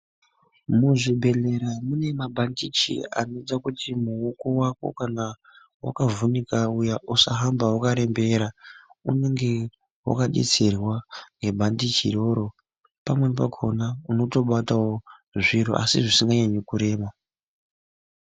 Muzvibhedhlera mune mabhandichi anoita kuti muoko vako kana vakavhinika uya usahamba vakarembera .Unenge vakabetserwa ngebhandichi iroro pamweni pakona unotobatavo zviro asi zvisinei nekurema.